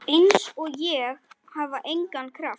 Einsog ég hafi engan kraft.